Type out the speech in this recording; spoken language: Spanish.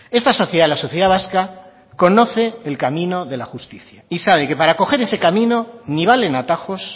esta sociedad la sociedad vasca conoce el camino de la justicia y sabe que para coger ese camino ni valen atajos